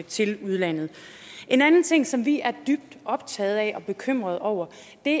til udlandet en anden ting som vi er dybt optagede af og bekymrede over